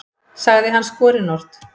sagði hann skorinort.